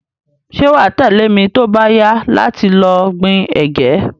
Se wa tẹ̀lẹ́ mi to ba yá láti lo gbin ẹ̀gẹ́